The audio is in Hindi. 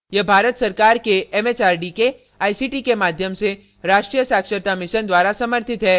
यह भारत सरकार के it it आर डी के आई सी टी के माध्यम से राष्ट्रीय साक्षरता mission द्वारा समर्थित है